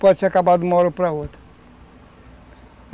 pode se acabar de uma hora para outra.